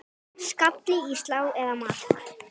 Skalli í slá eða mark?